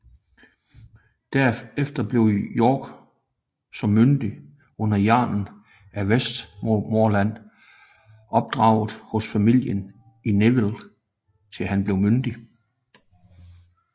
Derefter blev York som myndling under jarlen af Westmorland opdraget hos familien Neville til han blev myndig